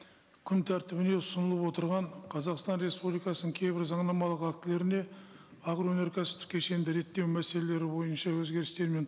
күн тәртібіне ұсынылып отырған қазақстан республикасының кейбір заңнамалық актілеріне агроөнеркәсіптік кешенді реттеу мәселелері бойынша өзгерістер мен